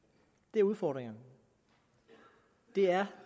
det er udfordringerne det er